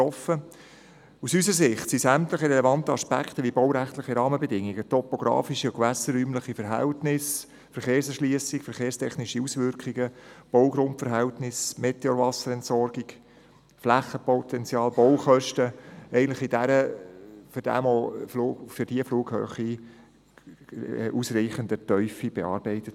Aus unserer Sicht wurden sämtliche relevanten Aspekte, wie die baurechtlichen Rahmenbedingungen, die topografischen und gewässerräumlichen Verhältnisse, die Verkehrserschliessung, die verkehrstechnischen Auswirkungen, die Baugrundverhältnisse, die Meteorwasserentsorgung, das Flächenpotenzial sowie die Baukosten, in ausreichender Tiefe für diese Flughöhe bearbeitet.